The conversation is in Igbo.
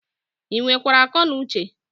Ị nwere kwara ako nu Uche?